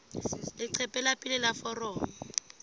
leqephe la pele la foromo